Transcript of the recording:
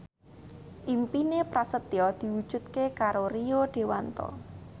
impine Prasetyo diwujudke karo Rio Dewanto